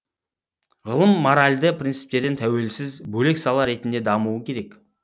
ғылым моральді принциптерден тәуелсіз бөлек сала ретінде дамуы керек